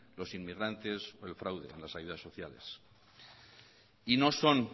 los inmigrantes el fraude en las ayudas sociales y no son